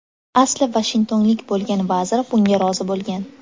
Asli vashingtonlik bo‘lgan vazir bunga rozi bo‘lgan.